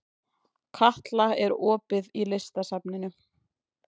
Katla, er opið í Listasafninu?